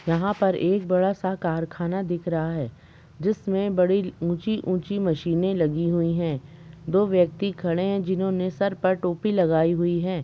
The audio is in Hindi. यहां पर एक बड़ा सा कारखाना दिख रहा है जिसमें बड़ी ऊंची ऊँची मशीने लगी हुई है दो व्यक्ति खड़े हैं जिन्होंने सर पर टोपी लगाई हुई है।